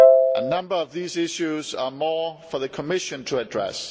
A number of these issues are more for the Commission to address.